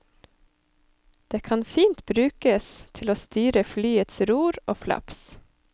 Det kan fint brukes til å styre flyets ror og flaps.